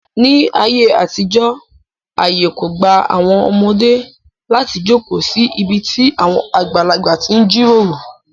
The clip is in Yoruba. Ní ayé àtijọ́ àyè kò gba àwọn ọmọdé láti jókòó sí ibi tí àwọn àgbàlagbà ti ń jíròrò.